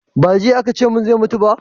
ba jiya a ka ce mun zai mutu ba?